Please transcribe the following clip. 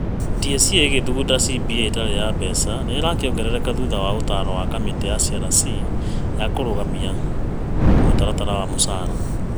TSC ĩgĩthugunda CBA ĩtarĩ ya mbeca nĩ ĩrakĩongerereka thutha wa ũtaaro wa kamĩtĩ ya SRC ya kũrũgamia mũtaratara wa mũcara.